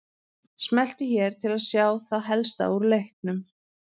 Smelltu hér til að sjá það helsta úr leiknum